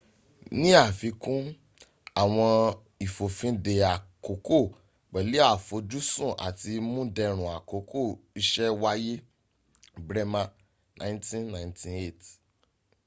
ní afikún àwọn ìfòfindè àkóókò pẹ̀lú àfojúsùn àti múndẹ̀rùn akókò isẹ́ wáyé. bremer 1998